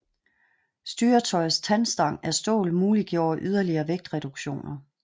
Styretøjets tandstang af stål muliggjorde yderligere vægtreduktioner